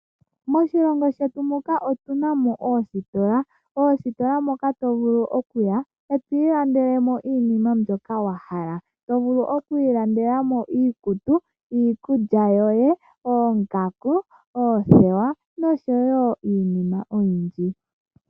Moshilongo shetu muka otuna ostola, ostola moka to vulu okuya eto ilandelemo iinima mbyoka wahala to vulu okwiilandela mo iikutu , iikulya yoye , oongaku , oothewa noshowo iinima oyindji.